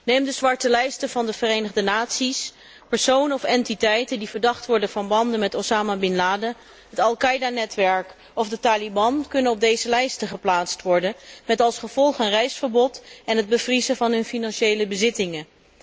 Neem de zwarte lijsten van de Verenigde Naties, personen of entiteiten die verdacht worden van banden met Osama Bin Laden, het Al Qa´ida netwerk of de Taliban, kunnen op deze lijsten geplaatst worden met als gevolg een reisverbod en het bevriezen van hun financiële bezittingen.